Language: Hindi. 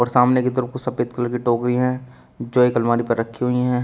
सामने की तरफ कुछ सफेद कलर की टोकरी हैं जो एक अलमारी पर रखी हुई हैं।